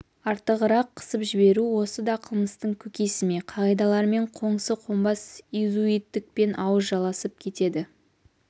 артығырақ қысып жіберу осы да қылмыстың көкесі ме қағидалармен қоңсы қонбас изуиттікпен ауыз жаласып кетеді